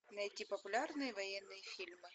найти популярные военные фильмы